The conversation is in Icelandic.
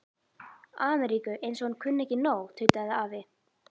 Ameríku, eins og hann kunni ekki nóg, tautaði afi.